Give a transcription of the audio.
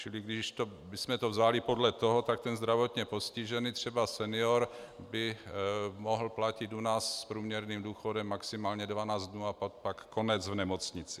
Čili když bychom to vzali podle toho, tak ten zdravotně postižený, třeba senior, by mohl platit u nás s průměrným důchodem maximálně 12 dnů a pak konec v nemocnici.